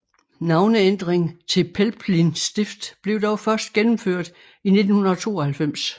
Navneændring til Pelplin Stift blev dog først gennemført i 1992